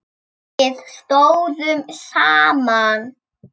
Við stóðum saman.